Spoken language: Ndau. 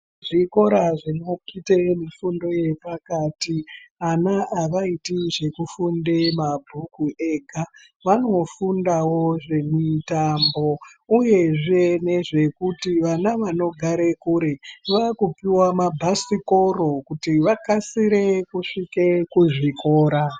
Zvikora zvinoite mifundo yepakati ana avaiti zvekufunde mabhuku ega vanofundawo zvemitambo uyezve nezvekuti vana vanogare kure vakupiwa mabhasikoro kuti vakasire kusvike kuzvikora.